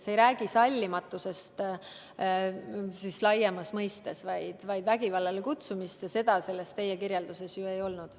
See ei räägi sallimatusest laiemas mõistes, vaid vägivallale kutsumisest ja seda teie kirjelduses ju ei olnud.